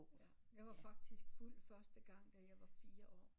Jeg var faktisk fuld første gang da jeg var fire år